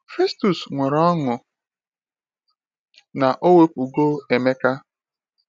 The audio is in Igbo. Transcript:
Festus nwere ọṅụ na ọ wepụgo Emeka.